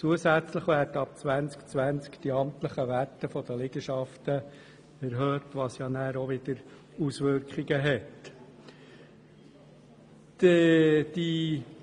Zusätzlich werden ab 2020 die amtlichen Werte der Liegenschaften erhöht, was dann auch wieder Auswirkungen haben wird.